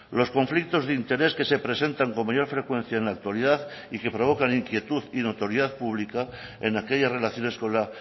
los conflictos de interés que se presentan con mayor frecuencia en la actualidad y que provocan inquietud y notoriedad pública en aquellas relaciones con la